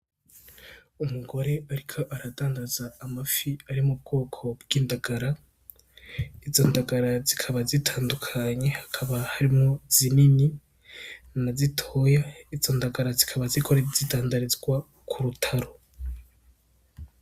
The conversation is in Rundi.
Umugore ariko aradandaza amafi ari mu bwoko bw'indagara, izo ndagara zikaba zitandukanye, hakaba harimwo zinini na zitoya, izo ndagara zikaba ziriko zidandarizwa kurutaro.